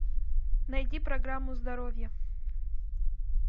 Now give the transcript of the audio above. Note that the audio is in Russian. найди программу здоровье